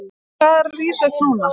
Hann er að rísa upp núna.